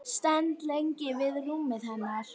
Stend lengi við rúmið hennar.